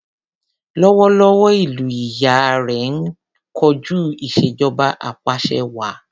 Lọ́wọ́lọ́wọ́, ìlú ìyá rẹ ń kojú ìṣèjọba apàṣẹwàá.